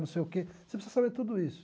Não sei o que você precisa saber tudo isso.